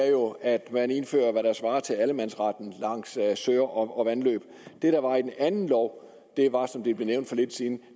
jo at man indfører hvad der svarer til allemandsretten langs søer og vandløb det der var i den anden lov var som det blev nævnt for lidt siden